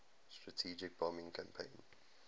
strategic bombing campaign